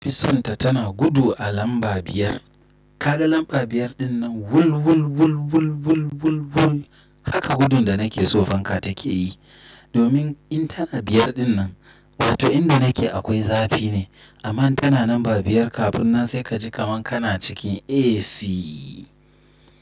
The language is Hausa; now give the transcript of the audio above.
Fisonta tana gudu a lamba biyar. Kaga lamba biyar dinnan wul, wul, wul, wul, wul, wul, wul. Haka gudun da nake so fanka take yi. Domin in tana biyar dinnan, wato inda nake akwai zafi ne. Amma in tana lamba biyar kafin nan sai ka ji kaman kana cikin AC.